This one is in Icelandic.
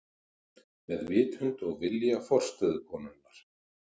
Með vitund og vilja forstöðukonunnar.